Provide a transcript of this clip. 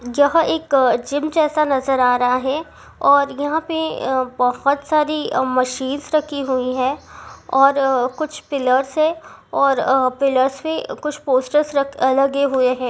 जह एक जिम जैसा नजर आ रहा है और यहां पे बहुत सारी मशीन रखी हुई है और कुछ पिलर से और पिलर्स से कुछ पोस्टर्स लगे हुए है।